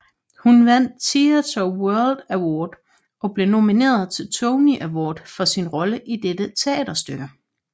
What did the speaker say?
Hun vandt Theatre World Award og blev nomineret til Tony Award for sin rolle i dette teaterstykke